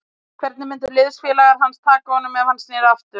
Hvernig myndu liðsfélagar hans taka honum ef hann sneri aftur?